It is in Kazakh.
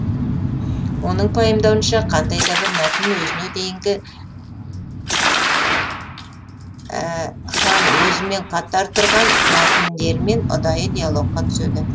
оның пайымдауынша қандай да бір мәтін өзіне дейінгі һәм өзімен қатар тұрған мәтіндермен ұдайы диалогқа түседі